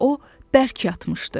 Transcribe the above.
O bərk yatmışdı.